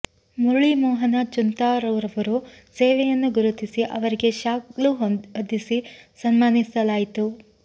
ಮುರಳೀ ಮೋಹನ ಚೂಂತಾರುರವರ ಸೇವೆಯನ್ನು ಗುರುತಿಸಿ ಅವರಿಗೆ ಶಾಲು ಹೊದಿಸಿ ಸನ್ಮಾನಿಸಲಾಯಿತು